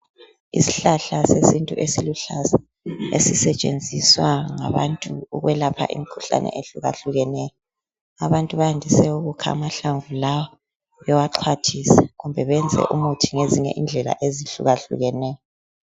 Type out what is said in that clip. Isihlahla sesintu esiluhlaza ,esisetshenziswa ngabantu ukwelapha imikhuhlane ehlukahlukeneyo. Abantu bayandise ukukha amahlamvu lawa bewaxwathise kumbe benze umuthi ngezinye indlela ezihlukahlukeneyo.